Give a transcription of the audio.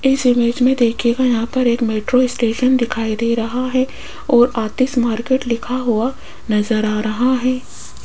इस इमेज में दिखेगा यहां पर एक मेट्रो स्टेशन दिखाई दे रहा है और आतिश मार्केट लिखा हुआ नजर आ रहा है।